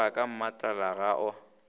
roga ka mmatlala ga a